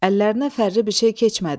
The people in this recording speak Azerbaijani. Əllərinə fərli bir şey keçmədi.